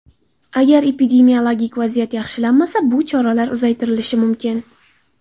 Agar epidemiologik vaziyat yaxshilanmasa, bu choralar uzaytirilishi mumkin.